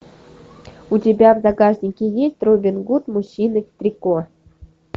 у тебя в загашнике есть робин гуд мужчины в трико